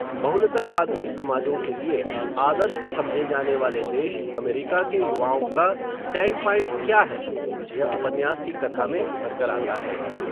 बहुलतावादी समाजों के लिए, आदर्श समझे जाने वाले देश, अमेरिका के युवाओं का, स्टैंडपाइंट क्या है, यह उपन्यास की कथा में उभर कर आता है